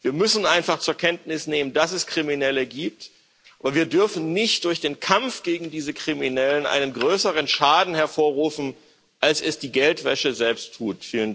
Wir müssen einfach zur Kenntnis nehmen, dass es Kriminelle gibt, und wir dürfen nicht durch den Kampf gegen diese Kriminellen einen größeren Schaden hervorrufen, als es die Geldwäsche selbst tut.